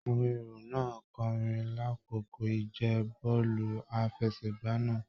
Àwọn èrò náà n kọrin l'akoko ìje bọọlu àfẹ́sẹ̀gbà náà.